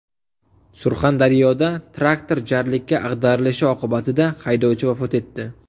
Surxondaryoda traktor jarlikka ag‘darilishi oqibatida haydovchi vafot etdi.